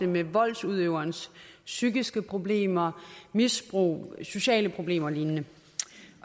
med voldsudøverens psykiske problemer misbrug sociale problemer og lignende